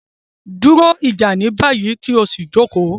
Duro ija ni bayi, ki o si joko